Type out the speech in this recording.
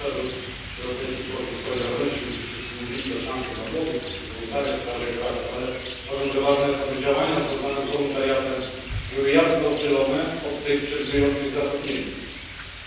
Panie Komisarzu! Europejski Korpus Solidarności o czym tu już wszyscy mówili to szansa dla młodych poprzez wolontariat, staże i pracę. Ale uważam za istotne, aby działania związane z wolontariatem były jasno oddzielone od tych przewidujących zatrudnienie.